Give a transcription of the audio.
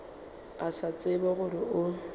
a sa tsebe gore o